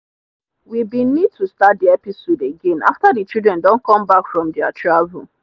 we bin need to start the episode again after the children don come back from their travel.